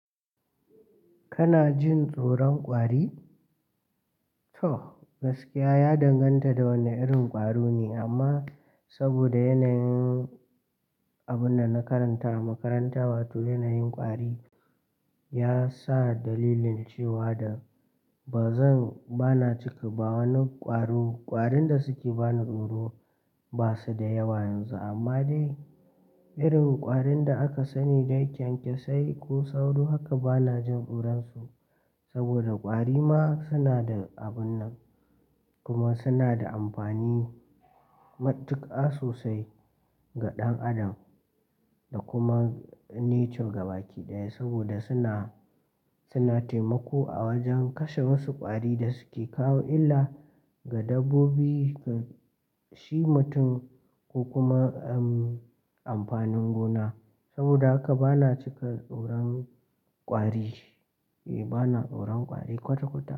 Kana jin tsoron kwari? To, gaskiya ya danganta da wane irin kwari ne amma, saboda yanayin abun da na karanta a makaranta wato yanayin kwari ya sa dalilin cewa da ba zan, bana cika ba wani kwaro. Kwarin da suke bani tsoro ba su da yawa yanzu amma dai irin kwarin da aka sani dai kyankyasai ko sauro haka bana jin tsoron su saboda kwari ma suna da abun nan kuma suna da amfani matuka sosai ga ɗan adam da kuma nature gaba ɗaya saboda suna, suna taimako a wajen kashe wasu kwari da suke kawo illa ga dabbobi, shi mutum ko kuma, amfanin gona. Saboda haka bana cika tsoron kwari. Eh bana tsoron kwari kwata-kwata.